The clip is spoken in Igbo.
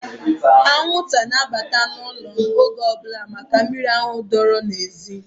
Anwụnta na-abata n'ụlọ m oge ọbụla maka miri ahụ dọọrọ n'ezi.